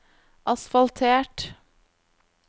asfaltert